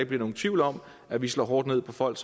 bliver nogen tvivl om at vi slår hårdt ned på folk